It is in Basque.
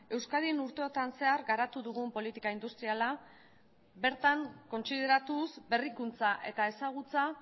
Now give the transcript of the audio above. euskadin urteotan zehar garatu dugun politika industriala bertan kontsideratuz berrikuntza eta ezagutza